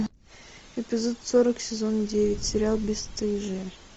эпизод сорок сезон девять сериал бесстыжие